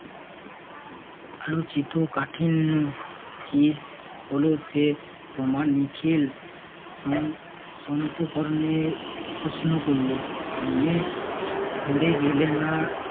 আলোচিত কাটিন্ন কি হলো সে তোমার নিখিল আহ সন্ত বর্ণের প্রশ্ন করল মনে গেলে না